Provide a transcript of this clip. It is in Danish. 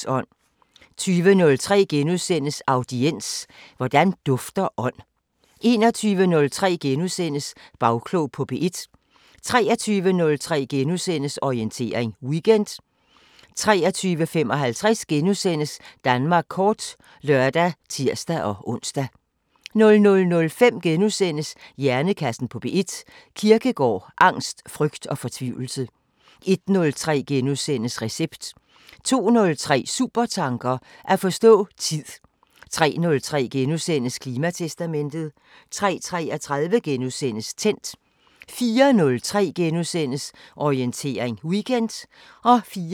20:03: Audiens: Hvordan dufter ånd? * 21:03: Bagklog på P1 * 23:03: Orientering Weekend * 23:55: Danmark kort *(lør og tir-ons) 00:05: Hjernekassen på P1: Kierkegaard, angst, frygt og fortvivlelse * 01:03: Recept * 02:03: Supertanker: At forstå tid 03:03: Klimatestamentet * 03:33: Tændt * 04:03: Orientering Weekend *